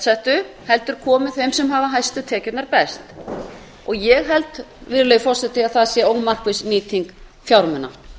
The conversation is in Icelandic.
settu heldur komi þeim sem hafa hæstu tekjurnar best ég held að það sé ómarkviss nýting fjármuna